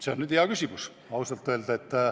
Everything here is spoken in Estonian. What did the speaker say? See on hea küsimus, kui ausalt öelda.